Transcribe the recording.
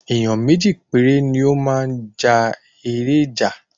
Èyán méjì péré ni o máa ja èrè ìjà